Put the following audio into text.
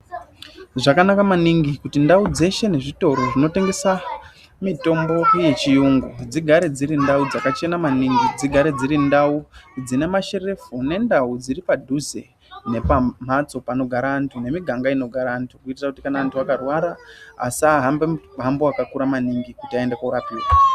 Zvakanaka maningi kuti ndau dzeshe nezvitoro zvinotengese mitombo yechiyungu dzigare dziri ndau dzakachena maningi. Dzigare dziri ndau dzine masherefu nendau dziripadhuze nepamhatso panogara antu nemiganga inogare antu kuitire kuti antu akarwara asahambe muhambo wakakura maningi kuti aende koorapiwa.